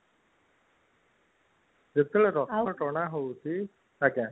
ଯେତେବେଳେ ରଥ ଟଣା ହୋଉଛି